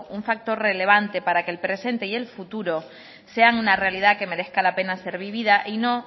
un factor relevante para que el presente y el futuro sean una realidad que merezca la pena ser vivida y no